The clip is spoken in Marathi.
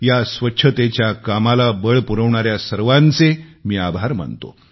या स्वच्छतेच्या कामाला बळ पुरविणाऱ्या सर्वांचे मी आभार मानतो